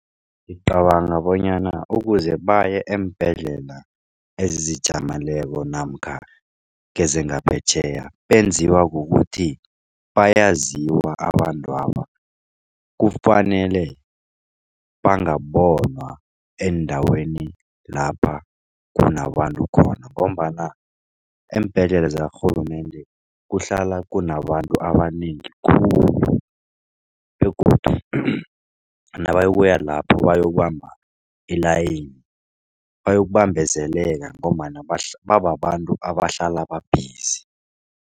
Ngicabanga bonyana ukuze baye eembhedlela ezizijameleko namkha kezangaphetjheya benziwa kukuthi bayaziwa abantwaba. Kufanele bangabonwa eendaweni lapha kunabantu khona. Ngombana eembhedlela zakarhulumende kuhlala kunabantu abanengi khulu begodu nabayokuya lapho bayokubamba ilayini bayokubambezeleka ngombana bababantu abahlala babhizi.